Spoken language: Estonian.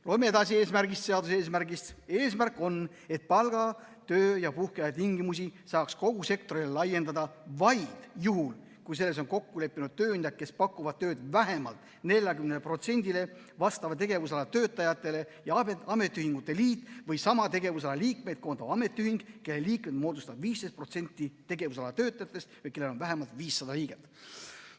Loeme edasi seaduse eesmärgist: "Eesmärk on, et palga-, töö- ja puhkeaja tingimusi saaks kogu sektorile laiendada vaid juhul, kui selles on kokku leppinud tööandjad, kes pakuvad tööd vähemalt 40 protsendile vastava tegevusala töötajatele ja ametiühingute liit või sama tegevusala liikmeid koondav ametiühing, kelle liikmed moodustavad 15 protsenti tegevusala töötajatest või kellel on vähemalt 500 liiget.